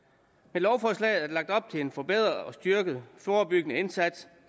med lovforslaget er der lagt op til en forbedret og styrket forebyggende indsats